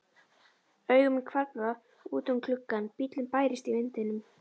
Augu mín hvarfla út um gluggann, bíllinn bærist í vindinum.